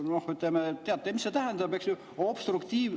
Noh, ütleme, teate, mis see tähendab, eks ju.